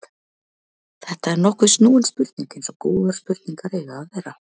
Þetta er nokkuð snúin spurning eins og góðar spurningar eiga að vera.